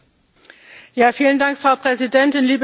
Frau Präsidentin, liebe Kolleginnen und Kollegen!